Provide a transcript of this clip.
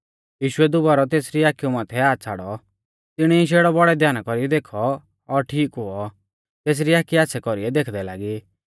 यीशुऐ दुबारौ तेसरी आखिऊ माथै हाथ छ़ाड़ौ तिणी शेड़ौ बौड़ै ध्याना कौरीऐ देखौ और ठीक हुऔ तेसरी आखी आच़्छ़ै कौरीऐ देखदै लागी